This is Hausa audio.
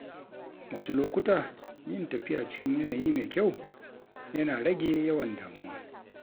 Wasu lokuta, yin tafiya cikin yanayi mai kyau, yana rage yawan damuwa.